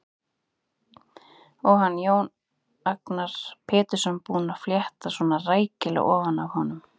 Og hann, Jón Agnar Pétursson, búinn að fletta svona rækilega ofan af honum!